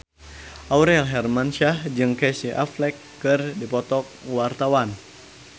Aurel Hermansyah jeung Casey Affleck keur dipoto ku wartawan